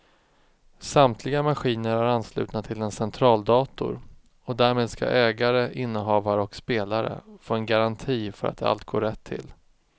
Samtliga maskiner är anslutna till en centraldator och därmed ska ägare, innehavare och spelare få en garanti för att allt går rätt till.